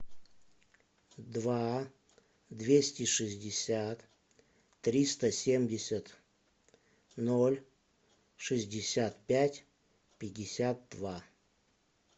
два двести шестьдесят триста семьдесят ноль шестьдесят пять пятьдесят два